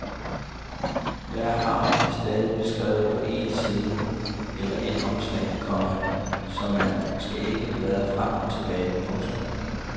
Hver havn er stadig beskrevet på én side eller ét opslag, komma så man ikke skal bladre frem og tilbage. punktum